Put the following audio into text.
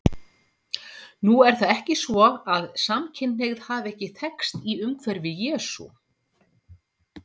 Nú er það ekki svo að samkynhneigð hafi ekki þekkst í umhverfi Jesú.